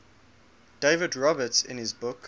david roberts in his book